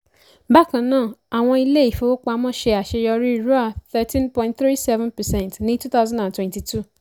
bákan náà àwọn ilé-ìfowópamọ́ ṣe àṣeyọrí thirteen point three seven percent ní twenty twenty two.